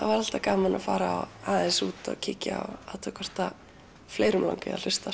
væri alltaf gaman að fara aðeins út og kíkja og athuga hvort fleiri langar að hlusta